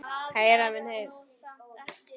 Heyra minni heyrn.